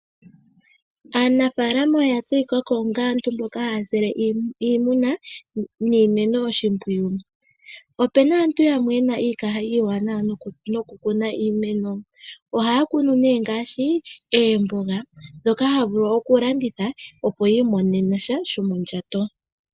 Aanafalama oya tseyikako onga aantu mboka haya sile iimuna niimeno oshimpwiyu. Opuna aantu yamw yena iikaha iiwanawa noku kuna iimeno ohaya kunu ngaashi oomboga ndhoka haya vulu okulanditha opo yi imonene sha shomondjato.